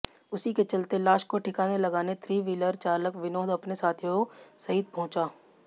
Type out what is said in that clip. उसी के चलते लाश को ठिकाने लगाने थ्री व्हीलर चालक विनोद अपने साथियों सहित पहंुचा